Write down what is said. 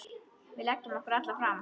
Við leggjum okkur alla fram.